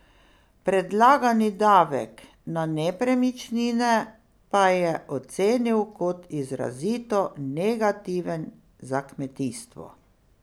Predlagani davek na nepremičnine pa je ocenil kot izrazito negativen za kmetijstvo.